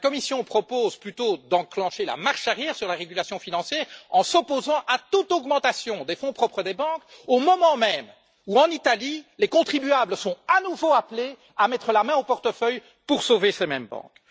La Commission propose plutôt d'enclencher la marche arrière sur la régulation financière en s'opposant à toute augmentation des fonds propres des banques, au moment même où, en Italie, les contribuables sont à nouveau appelés à mettre la main au portefeuille pour sauver ces mêmes banques.